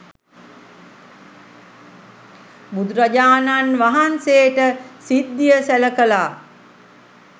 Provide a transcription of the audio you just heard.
බුදුරජාණන් වහන්සේට සිද්ධිය සැල කළා.